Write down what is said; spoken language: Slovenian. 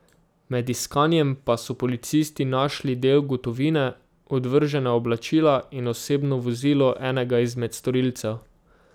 Med iskanjem pa so policisti našli del gotovine, odvržena oblačila in osebno vozilo enega izmed storilcev.